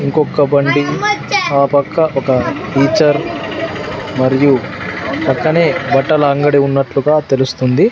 ఇంకొక్క బండి ఆ పక్క ఒక టీచర్ మరియు పక్కనే బట్టల అంగడి ఉన్నట్లు గా తెలుస్తుంది.